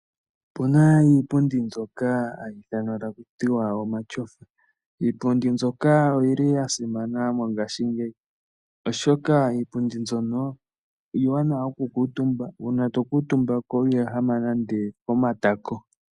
Opu na iipundi mbyoka hayi ithanwa taku tiwa omatyofa. Iipundi mbika oyi li ya simana mongaashingeyi oshoka iipundi mbyono iiwanawa oku kuutumbwa, uuna to kuutumba iho ehama nande omatako.